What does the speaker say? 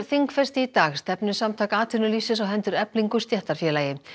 þingfesti í dag stefnu Samtaka atvinnulífsins á hendur Eflingu stéttarfélagi